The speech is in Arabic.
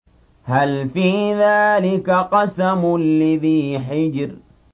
هَلْ فِي ذَٰلِكَ قَسَمٌ لِّذِي حِجْرٍ